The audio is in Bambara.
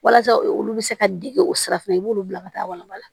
Walasa olu bɛ se ka dege o sira fɛ i b'olu bila ka taa walanba la